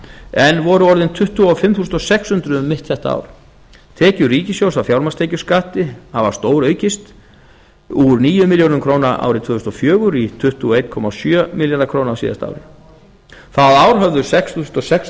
en voru orðin tuttugu og fimm þúsund sex hundruð um mitt þetta ár tekjur ríkisins af fjármagnstekjuskatti hafa stóraukist úr níu milljörðum króna árið tvö þúsund og fjögur í tuttugu og einn komma sjö milljarða króna á síðasta ári það ár höfðu sex þúsund sex